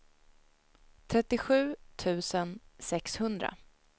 trettiosju tusen sexhundra